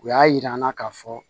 U y'a yir'an na k'a fɔ